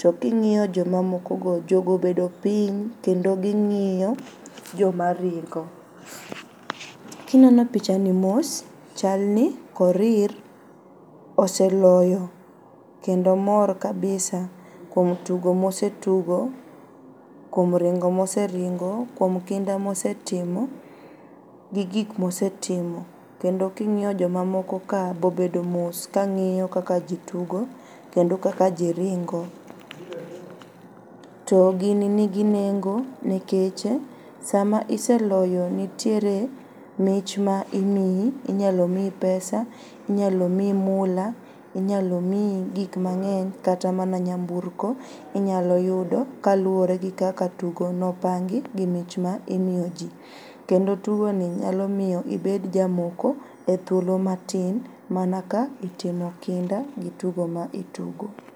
to king'iyo jomamoko go jogo obedo piny kendo ging'iyo joma ringo. Kineno pichani mos, chal ni Korir oseloyo kendo mor kabisa kuom tugo mosetugo, kuom ringo moseringo, kuom kinda mosetimo, gi gik mosetimo kendo king'iyo joma mokoka ,be obedo mos kang''iyo kaka ji tugo kendo kaka ji ringo. To gini nigi nengo nikech sama iseloyo nitiere mich ma imiyi, inyalo miyi pesa, inyalo miyi mula, inyalo miyi gik mang'eny kata mana nyamburko inyalo yudo kaluwore gi kaka tugono opangi gi mich ma imiyo ji, kendo tugoni nyalo miyo ibed jamoko e thuolo matin mana ka itimo kinda gi tugo ma itugo.